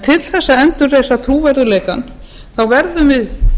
til þess að endurreisa trúverðugleikann verðum við